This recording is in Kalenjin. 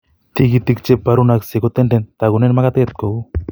Tigitik cheborunaksei kotenden, tagunen magatet kou